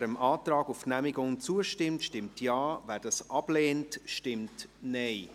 Wer dem Antrag auf Genehmigung zustimmt, stimmt Ja, wer diesen ablehnt, stimmt Nein.